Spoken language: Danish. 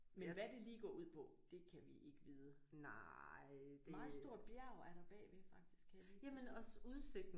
Men hvad det lige går ud på det kan vi ikke vide. Meget stort bjerg er der bagved faktisk kan jeg lige